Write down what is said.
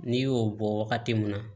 N'i y'o bɔ wagati mun na